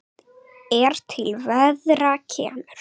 er til verðar kemur